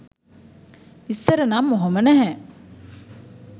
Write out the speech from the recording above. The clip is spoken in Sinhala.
ඉස්සර නම් ඔහොම නැහැ.